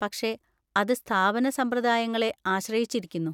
പക്ഷേ, അത് സ്ഥാപന സമ്പ്രദായങ്ങളെ ആശ്രയിച്ചിരിക്കുന്നു.